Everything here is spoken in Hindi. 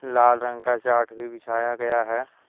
लाल रंग का चाट भी बिछाया गया है।